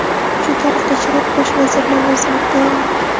Shu tariqa Shirak bosh vazir lavozimiga tayinlandi.